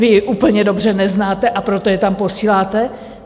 Vy ji úplně dobře neznáte, a proto je tam posíláte?